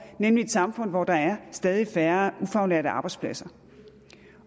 nemlig et samfund hvor der er stadig færre ufaglærte arbejdspladser